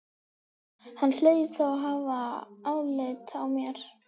Hann hlaut þá að hafa álit á mér!